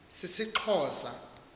sisixhosa